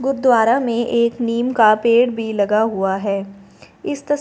गुरुद्वारा में एक नीम का पेड़ भी लगा हुआ है इस तस--